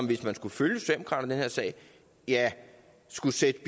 hvis man skulle følge her sag skulle sættes